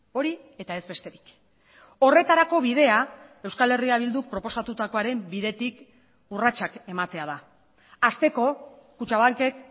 hori eta ez besterik horretarako bidea euskal herria bilduk proposatutakoaren bidetik urratsak ematea da hasteko kutxabankek